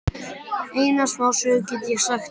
Eina smásögu get ég sagt þér.